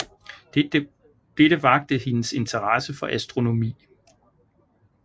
Dette vakte hendes interesse for astronomi